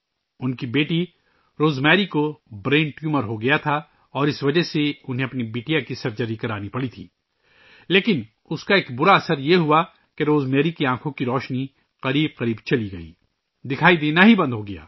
ان کی بیٹی روزمیری کو برین ٹیومر ہوگیا تھا ، جس کی وجہ سے انہیں اپنی بیٹی کی سرجری کرانی پڑی تھی لیکن اس کا ایک برا اثر یہ ہوا کہ روزمیری کی بینائی تقریباً چلی گئی، دکھائی دینا ہی بند ہو گیا